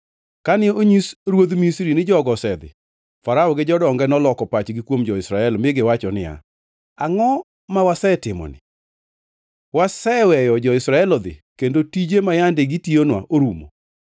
Kane onyis ruodh Misri ni jogo osedhi, Farao gi jodonge noloko pachgi kuom jo-Israel mi giwacho niya, “Angʼo ma wasetimoni? Waseweyo jo-Israel odhi kendo tije ma yande gitiyonwa orumo!”